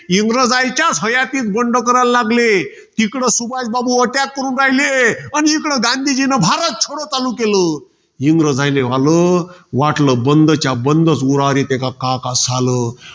इंग्रजांच्याच हयातीत बंड करायले लागले. तिकडे सुभाषबाबू attack करून राहिले. अन इकडं गांधीजींनी भारत छोडो चालू केलं. इंग्रजायले झालं. वाटलं, बंदच्या बंदच आता उरावर येते का काय झालं?